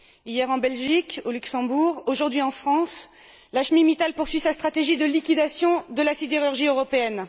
Hier en Belgique, au Luxembourg, aujourd'hui en France, Lakshmi Mittal poursuit sa stratégie de liquidation de la sidérurgie européenne.